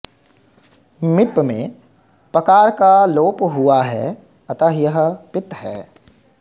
मिप् में पकार का लोप हुआ है अतः यह पित् है